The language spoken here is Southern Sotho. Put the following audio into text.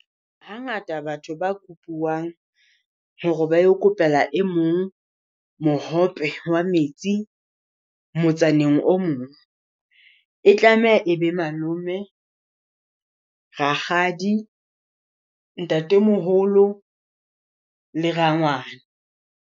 Hangata batho ba kopiwang hore ba yo kopela e mong mohope wa metsi motsaneng o mong. E tlameha e be malome, rakgadi, ntatemoholo le rangwane.